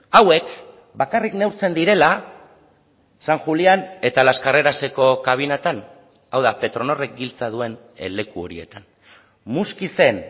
hauek bakarrik neurtzen direla san julián eta las carreraseko kabinetan hau da petronorrek giltza duen leku horietan muskizen